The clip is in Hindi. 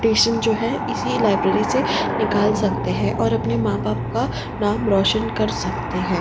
टेशन जो है इसी लाइब्रेरी से निकाल सकते है और अपने मां बाप का नाम रोशन कर सकते है।